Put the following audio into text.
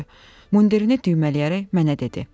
Mundirini düymələyərək mənə dedi: